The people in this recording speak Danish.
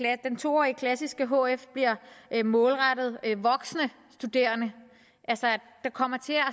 at den to årige klassiske hf bliver målrettet voksne studerende altså at der kommer til at